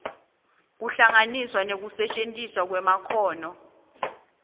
kuhlanganiswa nekusetjentiswa kwemakhono